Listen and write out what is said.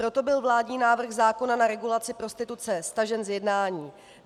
Proto byl vládní návrh zákona na regulaci prostituce stažen z jednání.